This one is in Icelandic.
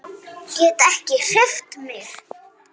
Get ekki hreyft mig.